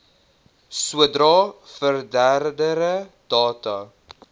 sodra verdere data